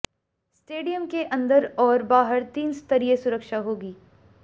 stadium के अंदर और बाहर तीन स्तरीय सुरक्षा होगी